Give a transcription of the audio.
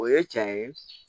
O ye cɛn ye